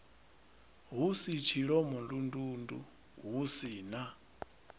hu tshilomondundundu hu si na